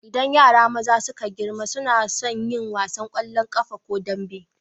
Idan yara maza suka girma suna sun yin wasan ƙwallon ƙafa ko dambe.